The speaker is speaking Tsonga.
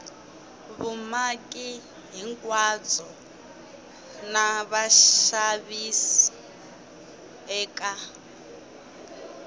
vumaki hinkwabyo na vaxavis eka